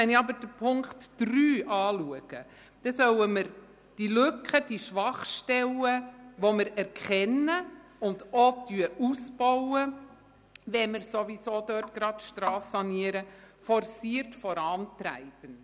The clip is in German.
Gemäss Punkt 3 sollen wir aber die Lücken und Schwachstellen, die wir erkennen und auch ausbauen, wenn wir dort die Strasse sanieren, forciert vorantreiben.